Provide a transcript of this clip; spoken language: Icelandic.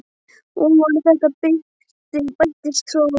Ofan á þetta bættist svo samviskubitið.